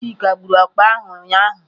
Chika gburu ọkpa ahụ ụnyahụ.